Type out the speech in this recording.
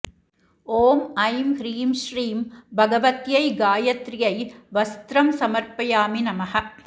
ॐ ऐं हीं श्रीं भगवत्यै गायत्र्यै वस्त्रं समर्पयामि नमः